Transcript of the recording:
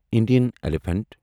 Indian elephant